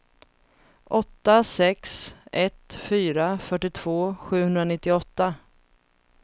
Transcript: åtta sex ett fyra fyrtiotvå sjuhundranittioåtta